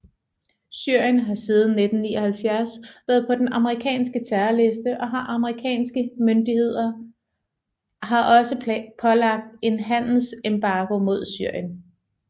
Syrien har siden 1979 været på den amerikanske terrorliste og de amerikanske myndigheder har også pålagt en handelsembargo mod Syrien